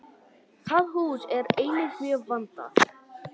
Það hús er einnig mjög vandað.